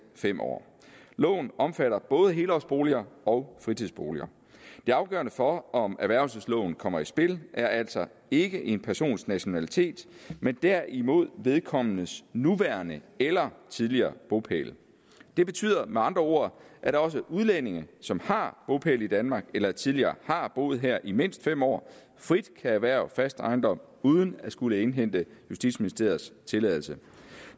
fem år loven omfatter både helårsboliger og fritidsboliger det afgørende for om erhvervelsesloven kommer i spil er altså ikke en persons nationalitet men derimod vedkommendes nuværende eller tidligere bopæl det betyder med andre ord at også udlændinge som har bopæl i danmark eller tidligere har boet her i mindst fem år frit kan erhverve fast ejendom uden at skulle indhente justitsministeriets tilladelse